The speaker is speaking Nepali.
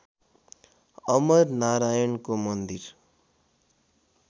अमर नारायणको मन्दिर